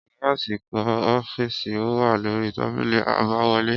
ìwé àsìkò ọ́fìsì o wà lórí tábìlì àbáwọlé